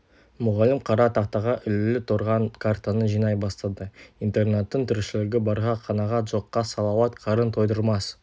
мұғалім қара тақтаға ілулі тұрған картаны жинай бастады интернаттың тіршілігі барға қанағат жоққа салауат қарын тойдырмас